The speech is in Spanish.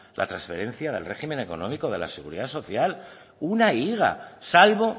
la transferencia del régimen económico de la seguridad social una higa salvo